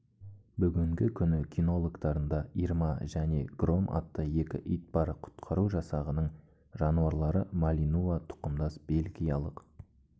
бүгінгі күні кинологтарында ирма және гром атты екі ит бар құтқару жасағының жануарлары малинуа тұқымдас бельгиялық